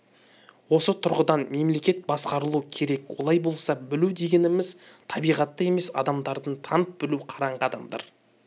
осы тұрғыдан мемлекет басқарылу керек олай болса білу дегеніміз табиғатты емес адамдарды танып білу қараңғы адамдар